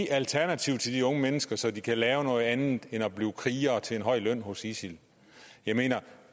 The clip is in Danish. alternativ til de unge mennesker så de kan lave noget andet end at blive krigere til en høj løn hos isil jeg mener